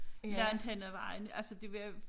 Langt hen ad vejen altså det var